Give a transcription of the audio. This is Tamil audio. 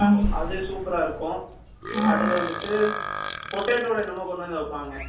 அது supera இருக்கும், அடுத்து வந்துட்டு Potato ல என்ன்மொ கொண்டு வந்து வைபாங்க